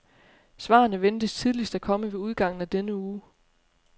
Svarene ventes tidligst at komme ved udgangen af denne uge.